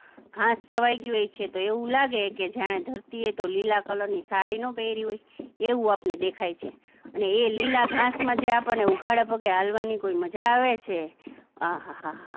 ઘાસ છવાય ગયું હોય છે તો એવું લાગે કે એવું લાગે કે જાણે ધરતી એ તો લીલા કલરની સાડી નો પહેરી હોય એવું આપણને દેખાય છે એટલે એ લીલા ઘાસમાં જે આપણને ઉઘાડા પગે હાલવાની કોઈ મજા આવે છે અહાહાહા